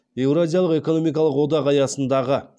еуразиялық экономикалық одақ аясындағы